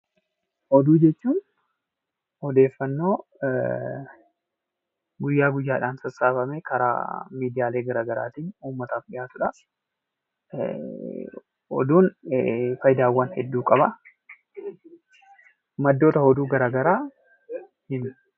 Oduu jechuun; ooddeeffannoo guyyaa guyyaadhaan sassaabamee karaa miidiyaalee garagaraattin ummaataf dhiyaatudha. oduun faayidawwan hedduu qaba. maddoota oduu garagaraa